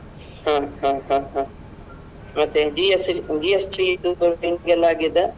ಹ ಹ ಹ ಹ ಮತ್ತೆ ಮತ್ತೆ GST GST ಎಲ್ಲ ಆಗಿದಾ?